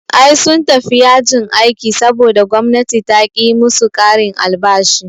Ai sun tafi yajin aiki saboda gwamnati taƙi yi musu ƙarin albashi